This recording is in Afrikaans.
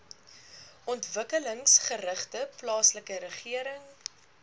ontwikkelingsgerigte plaaslike regering